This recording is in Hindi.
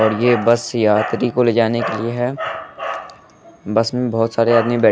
और ये बस यात्री को ले जाने के लिए है बस में बहोत सारे आदमी--